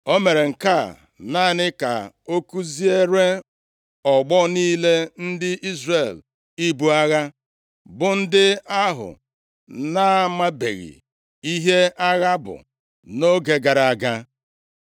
O mere nke a naanị ka ọ kuziere ọgbọ niile ndị Izrel ibu agha, bụ ndị ahụ na-amabeghị ihe agha bụ nʼoge gara aga.